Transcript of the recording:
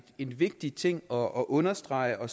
en vigtig ting og understreger